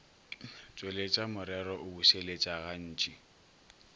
tšweletša morero o bušeletša gantši